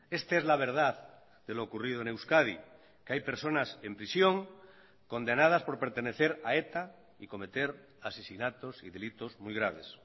esta es la verdad de lo ocurrido en euskadi que hay personas en prisión condenadas por pertenecer a eta y cometer asesinatos y delitos muy graves